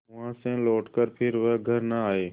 वहाँ से लौटकर फिर वे घर न आये